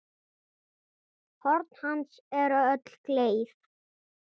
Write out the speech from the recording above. Horn hans eru öll gleið.